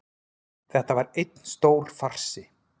Þetta var einn stór farsi